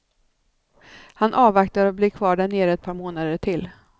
Han avvaktar och blir kvar där nere ett par månader till.